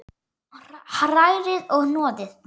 Hrærið og hnoðið.